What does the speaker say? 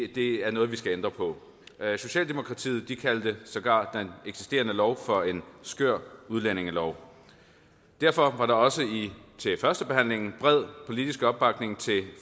det er noget vi skal ændre på socialdemokratiet kaldte sågar den eksisterende lov for en skør udlændingelov derfor var der også til førstebehandlingen bred politisk opbakning til